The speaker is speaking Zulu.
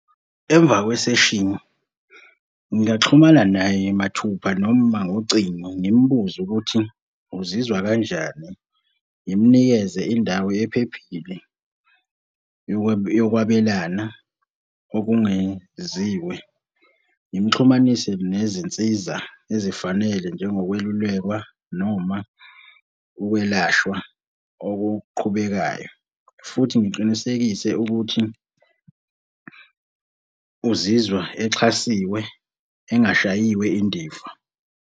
Emva kweseshini, ngingaxhumana naye mathupha noma ngocingo ngimbuze ukuthi uzizwa kanjani. Ngimunikeze indawo ephephile yokwabelana okungeziwe. Ngimuxhumanise nezinsiza ezifanele njengokwelulekwa noma ukwelashwa okuqhubekayo, futhi ngiqinisekise ukuthi uzizwa exhasiwe engashayiwe indiva.